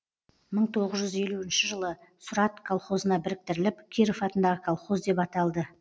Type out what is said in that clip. мың тоғыз жүз елуінші жылы сұрат колхозына біріктіріліп киров атындағы колхоз деп аталды